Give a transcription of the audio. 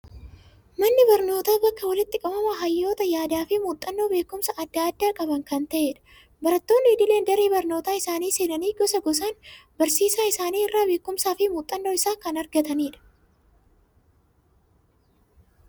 Manni barnootaa, bakka walitti qabama hayyoota yaada fi muuxannoo beekumsaa addaa addaa qabanii kan ta'edha. Barattoonni idileen daree barnoota isaanii seenanii, gosa, gosaan barsiisaa isaanii irraa beekumsaa fi muuxannoo isaa kan argatanidha.